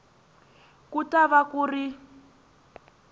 ku ta va ku ri